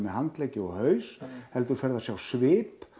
handleggi og haus heldur ferðu að sjá svip